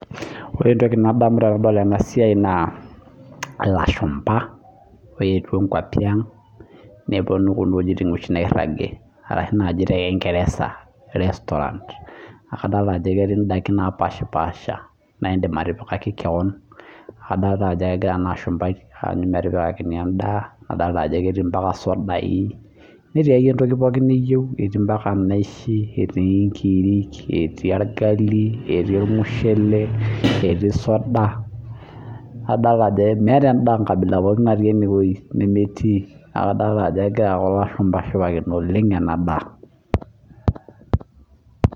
Wore entoki nadamu tenadol ena siai naa ilashumba ooetua inkuapi ang', neponu kuna wuejitin oshi nairagi arashu naaji tekingeresa restaurant, naa kadoolta ajo ketii indaikin naapashpaasha naa iindim atipikaki keon. Adolta ajo ekira enaashumbai aanyu metipikakini endaa, nadoolta ajo ketii ambaka isudai, netii akeyie entoki pookin niyieu, etii ambaka inaishi, etii inkirik etii orgali etii ormushele, etii soda, nadoolta ajo meeta enda nkabila pookin natii enewuoji nemetii, neeku adoolta ajo ekira kulo aashumba aashipakino oleng' ena daa.